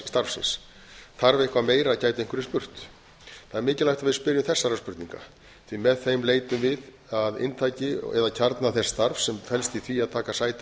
þingmannsstarfsins þarf eitthvað meira gætu einhverjir spurt það er mikilvægt að við spyrjum þessara spurninga því með þeim leitum við að inntaki eða kjarna þess starfs sem felst í því að taka sæti á